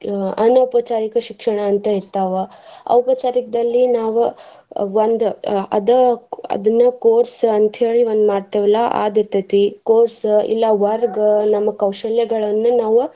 ಅನೌಪಚಾರಿಕ ಶಿಕ್ಷಣ ಅಂತ ಇರ್ತಾವ. ಔಪಚಾರಿಕದಲ್ಲಿ ನಾವ್ ಒಂದ್ ಅದ್ ಅದನ್ನ course ಅಂತ ಹೇಳಿ ಒಂದ್ ಮಾಡ್ತೇವಲಾ ಅದ್ ಇರ್ತೇತಿ course ಇಲ್ಲಾ ವರ್ಗ ನಮ್ಮ ಕೌಶ್ಯಲ್ಯಗಳನ್ನ ನಾವ್ .